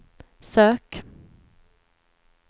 sök